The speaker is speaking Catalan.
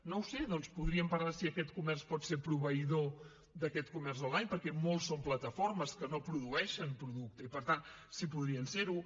no ho sé doncs podríem parlar si aquest comerç pot ser proveïdor d’aquest comerç online perquè molts són plataformes que no produeixen producte i per tant si podrien ser ho